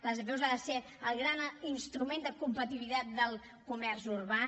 les apeu han de ser el gran instrument de competitivitat del comerç urbà